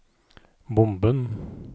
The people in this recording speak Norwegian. bomben